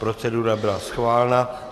Procedura byla schválena.